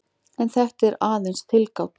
En þetta er aðeins tilgáta.